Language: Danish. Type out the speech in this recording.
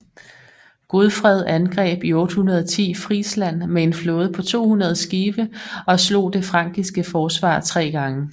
Godfred angreb i 810 Frisland med en flåde på 200 skibe og slog det frankiske forsvar tre gange